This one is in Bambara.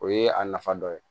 O ye a nafa dɔ ye